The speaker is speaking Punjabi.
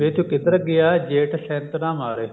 ਵੇ ਤੂੰ ਕਿਧਰ ਗਿਆ ਜੇਠ ਸ਼ੇਨਤਨਾ ਮਾਰੇ